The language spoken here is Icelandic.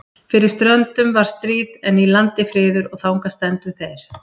Fyrir ströndum var stríð, en í landi friður, og þangað stefndu þeir.